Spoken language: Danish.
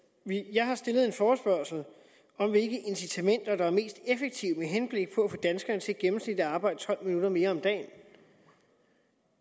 jeg har stillet en forespørgsel om hvilke incitamenter der er mest effektive med henblik på at få danskerne til gennemsnitligt at arbejde tolv minutter mere om dagen